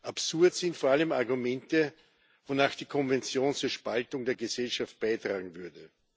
Absurd sind vor allem Argumente, wonach die Konvention zur Spaltung der Gesellschaft beitragen würde.